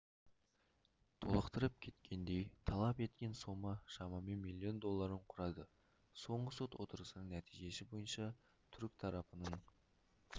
толықтырып кеткендей талап еткен сома шамамен миллион долларын құрады соңғы сот отырысының нәтижесі бойынша түрік тарапының